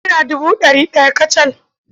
Naira dubu da ɗari ɗaya kacal.